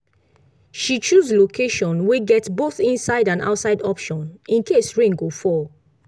she choose location wey get both inside and outside option in case rain go fall